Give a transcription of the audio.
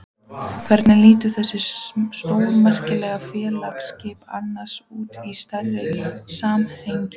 Hvernig líta þessi stórmerkilegu félagsskipti annars út í stærra samhengi?